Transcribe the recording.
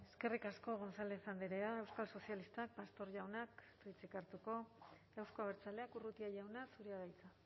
eskerrik asko gonzález andrea euskal sozialistak pastor jaunak ez du hitzik hartuko euzko abertzaleak urrutia jauna zurea da hitza